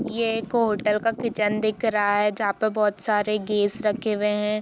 ये एक होटल का किचन है दिख रहा है जहाँ पर बहुत सारे गैस रखे हुए हैं।